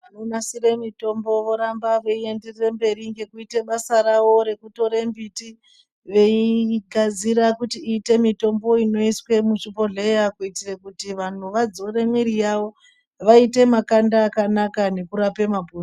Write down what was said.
Vanonasira mitombo voramba veienderera mberi ngekuita basa rawo rekutora mbiti veigadzire kuti iite mitombo inoiswa muzvibhodhleya kuitira kuti vantu vadzore mwiri yavo vaaite makanda akanaka nekurapa mapundu